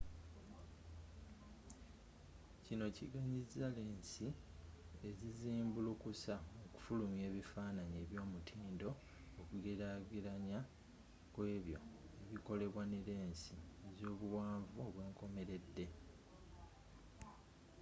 kino kiganyiza lensi ezizimbulukusa okufulumya ebifaananyi eby'omutindo okugelagelanya kw'ebyo ebikolebwa ne lensi ezobuwanvu obwenkomeredde